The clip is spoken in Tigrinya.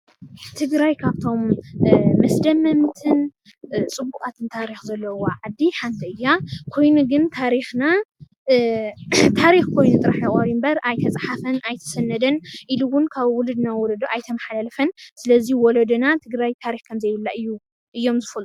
ትግራይ ካብቶም መስደመምትን ፅቡቃትን ታሪክ ዘለዋ ዓዲ ሓንቲ እያ፡፡ ኮይኑ ግን ታሪክና ታሪክ ኮይኑ ጥራሕ እዩ ቀርዩ እምበር ኣይተፃሓፈን ኣይተሰነደን ኢሉ እዉን ካብ ዉለዶ ናብ ወለዶ ኣይተመሓላለፈን። ስለዚ ወለዶና ትግራይ ታሪክ ከም ዘየብላ እዮም ዝፈልጡ፡፡